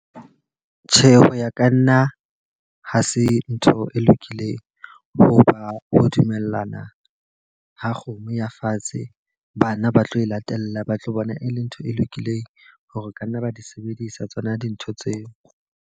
Tjhe, ho ya ka nna ha se ntho e lokileng. Ho ba ho dumellana ha kgomo ya fatshe, bana ba tlo e latella ba tlo bona e le ntho e lokileng hore ka nna ba di sebedisa tsona dintho tseo.